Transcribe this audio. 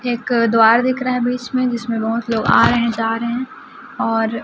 एक द्वार दिख रहा है बीच में जिसमें बहुत लोग आ रहे हैं जा रहे हैं और--